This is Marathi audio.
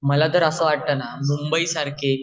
मला तर असं वाटतनां मुंबई सारखे